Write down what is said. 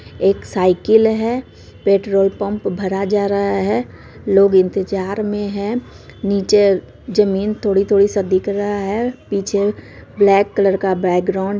एक साइकिल है petrol pump भरा जा रहा है लोग इंतज़ार में है नीचे जमीन थोड़ी-थोड़ी सब दिख रहा है पीछे ब्लैक कलर का बैकग्राउंड --